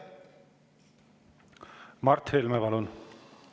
Mart Helme, palun!